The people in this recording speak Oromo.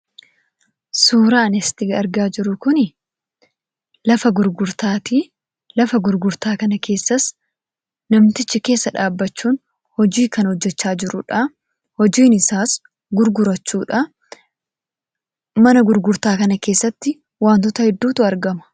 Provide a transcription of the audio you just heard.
Suuraan asitti argaa jirru kun lafa gurgurtaati. Lafa gurgurtaa kana keessas namtichi keessa dhaabbachuun hojii kan hojjechaa jiruudha. Hojiin isaas gurgurachuudha. Mana gurgurtaa kana keessatti wantoota hedduutu argama.